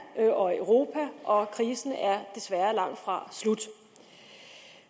og i europa og krisen er desværre langtfra slut